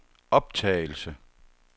optagelse